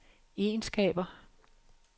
egenskaber